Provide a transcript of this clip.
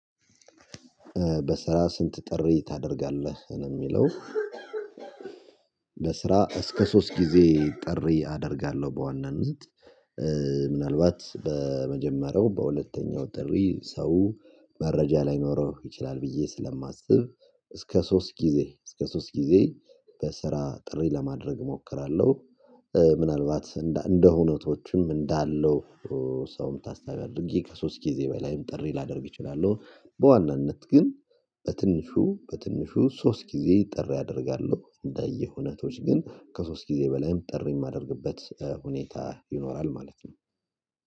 በስራ ስንት ጥሪ ታደርጋለህ ነው የሚለው? በስራ እስከ ሶስት ጊዜ ጥሪ አደርጋለሁ በዋናነት። ምናልባት በመጀመሪያው በሁለተኛው ጥሪ ሰው መረጃ ላይኖረው ይችላል ብዬ ስለማስብ እስከ ሶስት ጊዜ እስከ ሶስት ጊዜ በስራ ጥሪ ለማድረግ እሞክራለሁ። ምናልባት እንደ እውነቶችም እንዳለው ሰውም ታስታውቂ ከሶስት ጊዜ በላይም ጥሪ ላደርግ እችላለሁ። በዋናነት ግን በትንሹ በትንሹ ሶስት ጊዜ ጥሪ አደርጋለሁ። እንደየሁነቶች ግን ከሶስት ጊዜ በላይም ጥሪ የማደርግበት ሁኔታ ይኖራል ማለት ነው።